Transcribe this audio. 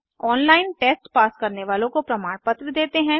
online test pass करने वालों को प्रमाणपत्र देते हैं